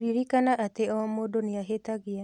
Ririkana atĩ o mũndũ nĩ ahĩtagia